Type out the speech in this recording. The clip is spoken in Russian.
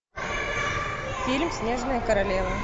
фильм снежная королева